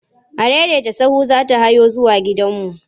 Adaidaita sahu za hawo zuwa gidanmu.